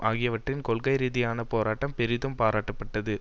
ஆகியவற்றின் கொள்கை ரீதியான போராட்டம் பெரிதும் பாராட்டப்பட்டது